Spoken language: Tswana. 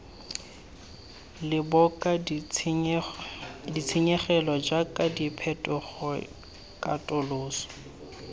boloka ditshenyegelo jaaka phetogo katoloso